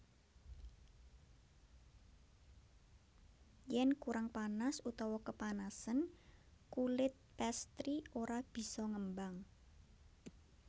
Yen kurang panas utawa kepanasen kulit pastry ora bisa ngembang